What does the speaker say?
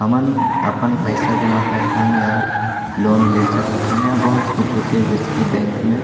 हमन अपन पैसा जमा करथन या लोन ले सकथन या बहुत कुछ होते जैसे की बैंक में --